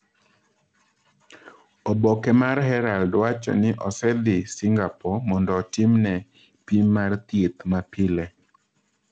"Oboke mar Herald wacho ni osedhi Singapore mondo otimne "pim mar thieth ma pile"".